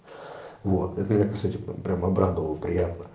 вот это я по сути прям прям обрадовал приятно